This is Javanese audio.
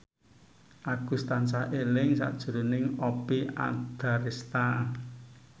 Agus tansah eling sakjroning Oppie Andaresta